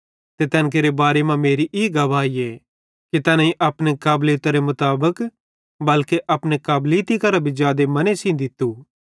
ते तैन केरे बारे मां मेरी ई गवाहीए कि तैनेईं अपने काबलीतरे मुताबिक बल्के अपने काबलीती करां भी जादे मने सेइं दित्तू